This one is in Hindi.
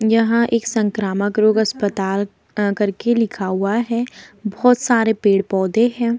यहाँ एक संक्रामक रोग अस्पताल अ करके लिखा हुआ है बहोत सारे पेड़-पौधे हैं।